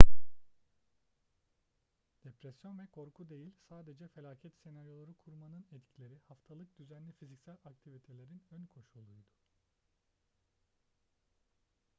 depresyon ve korku değil sadece felaket senaryoları kurmanın etkileri haftalık düzenli fiziksel aktivitelerin önkoşuluydu